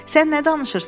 Sən nə danışırsan?